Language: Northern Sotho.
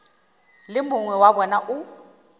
le mongwe wa bona o